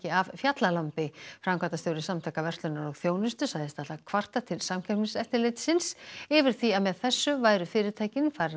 af fjallalambi framkvæmdastjóri Samtaka verslunar og þjónustu sagðist ætla að kvarta til Samkeppniseftirlitsins yfir því að með þessu væru fyrirtækin